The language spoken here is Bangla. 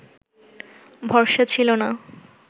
ভরসা ছিল না